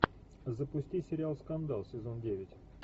запусти сериал скандал сезон девять